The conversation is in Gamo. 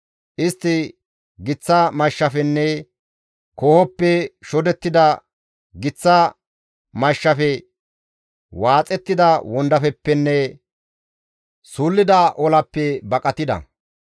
Istti giththa mashshafenne koohoppe shodettida giththa mashshafe, waaxettida wondafeppenne suullida olappe baqatida.